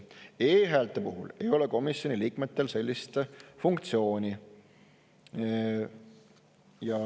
E-häälte puhul ei ole komisjoni liikmetel sellist funktsiooni.